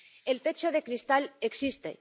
El techo de cristal existe.